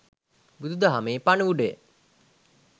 බුදුදහමේ පණිවුඩය